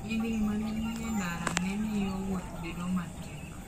Yiengini ma ne nie ndara ne miyo wuoth bedo matek.